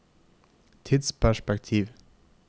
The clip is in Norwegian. tidsperspektiv